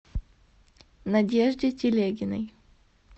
надежде телегиной